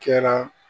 Kɛra